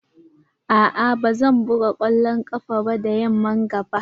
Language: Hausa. A'a ba zan buga kwallon ƙafa da yamman ga ba.